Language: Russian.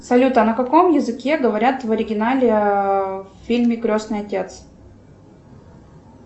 салют а на каком языке говорят в оригинале в фильме крестный отец